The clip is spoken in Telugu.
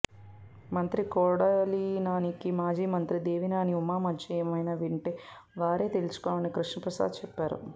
మంత్రి కొడాలినానికి మాజీ మంత్రి దేవినేని ఉమా మధ్య ఏమైనా ఉంటే వారే తేల్చుకోవాలని కృష్ణప్రసాద్ చెప్పారు